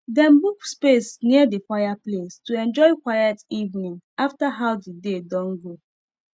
dem book space near the fireplace to enjoy quiet evening after how the day don go